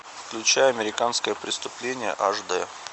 включай американское преступление аш дэ